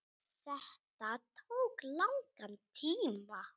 Þetta tók langan tíma.